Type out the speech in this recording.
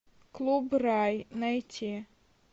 клуб рай найти